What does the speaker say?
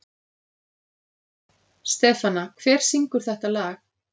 Stefana, hver syngur þetta lag?